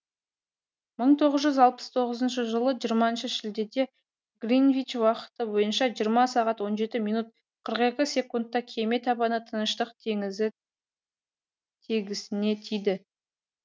мың тоғыз жүз алпыс тоғыз жылы жиырма шілдеде гринвич уақыты бойынша жиырма сағат он жеті минут қырық екі секундта кеме табаны тыныштық теңізі тегісіне тиді